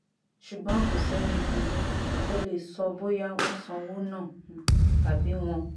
ṣùgbọ́n kò sẹ́ni um tó lè sọ bóyá wọ́n sanwó náà um tàbí wọ́n